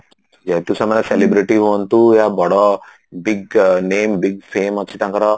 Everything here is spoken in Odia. ଯେହେତୁ ସେମାନେ celebrity ହୁଅନ୍ତୁ ୟା ବଡ big name big fame ଅଛି ତାଙ୍କର